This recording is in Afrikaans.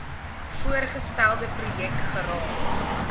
voorgestelde projek geraak